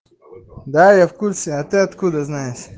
да я в курсе а ты откуда знаешь